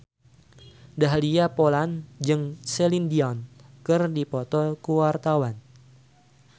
Dahlia Poland jeung Celine Dion keur dipoto ku wartawan